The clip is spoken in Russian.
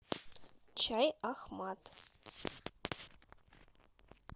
чай ахмад